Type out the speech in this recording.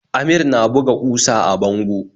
Amir na buga kusa a bango